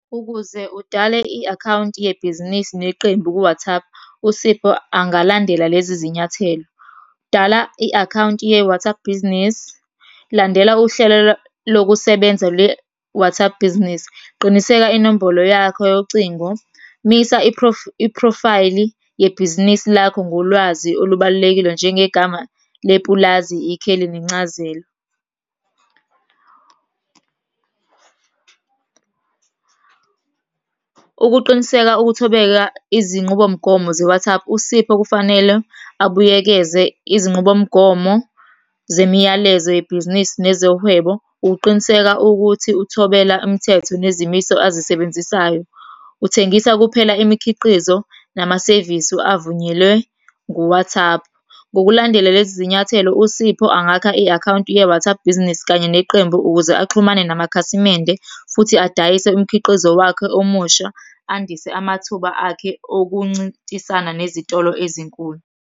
Ukuze udale i-akhawunti yebhizinisi neqembu ku-WhatsApp, uSipho angalandela lezi zinyathelo. Dala i-akhawunti ye-WhatsApp Business. Landela uhlelo lokusebenza lwe-WhatsApp Business. Qiniseka inombolo yakho yocingo. Misa i-profile yebhizinisi lakho ngolwazi olubablulekile njengegama lepulazi, ikheli nencazelo. Ukuqiniseka ukuthobeka izinqubomgomo ze-WhatsApp, uSipho kufanele abuyekeze izinqubomgomo zemiyalezo yebhizinisi nezohwebo, ukuqiniseka ukuthi uthobela imthetho nezimiso azisebenzisayo. Uthengisa kuphela imikhiqizo, namasevisi avunyelwe ngu-WhatsApp. Ngokulandela lezi zinyathelo, uSipho angakha i-akhawunti ye-WhatsApp Business kanye neqembu ukuze axhumane namakhasimende, futhi adayise umkhiqizo wakhe omusha, andise amathuba akhe okuncintisana nezitolo ezinkulu.